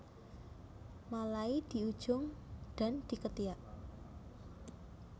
Malai di ujung dan di ketiak